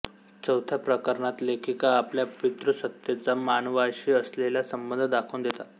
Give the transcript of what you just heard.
चौथ्या प्रकरणात लेखिका आपल्या पितृसत्तेचा मानवाशी असलेला संबंध दाखवून देतात